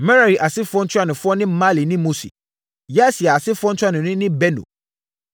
Merari asefoɔ ntuanofoɔ ne Mahli ne Musi. Yasia asefoɔ ntuanoni ne Beno.